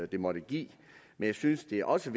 det måtte give men jeg synes det også